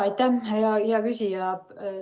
Aitäh, hea küsija!